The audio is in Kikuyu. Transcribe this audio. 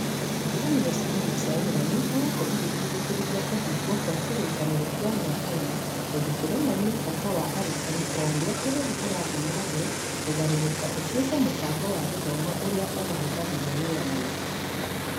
Ngwatanĩro cia aruti a wĩra nĩ ikoretwo igĩtindĩkĩrĩria kũhingwo kwa kĩrĩkanĩro kĩa mĩaka ĩna tondũ kĩronania bata wa arutani o ũrĩa bũrũri ũrathiĩ na mbere kũgarũrũka ũtuĩke mũbango wa gĩthomo ũrĩa ũmahũthagĩra wĩra mũingĩ.